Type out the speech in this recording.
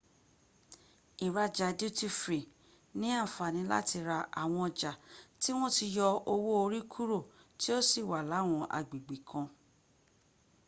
ìraja duty free ni àǹfàní láti ra àwọn ọjà tí wọ́n ti yọ owó orí kúrò tí ó sì wà láwọn agbègbè kan